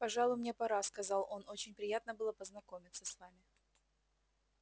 пожалуй мне пора сказал он очень приятно было познакомиться с вами